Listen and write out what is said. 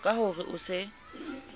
ka ho re o se